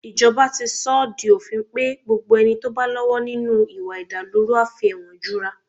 Ìjọba ti sọ ọ́ di òfin pé gbogbo ẹni tó bá lọ́wọ́ nínú ìwà ìdàlúrú a fi ẹ̀wọ̀n jura